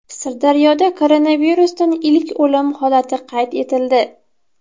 Sirdaryoda koronavirusdan ilk o‘lim holati qayd etildi.